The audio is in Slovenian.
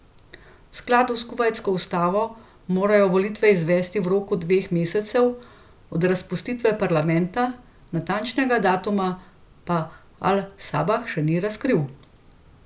V skladu s kuvajtsko ustavo morajo volitve izvesti v roku dveh mesecev od razpustitve parlamenta, natančnega datuma pa al Sabah še ni razkril.